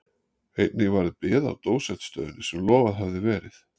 Einnig varð bið á dósentsstöðunni sem lofað hafði verið.